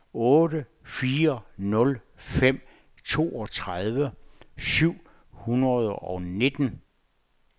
otte fire nul fem toogtredive syv hundrede og nitten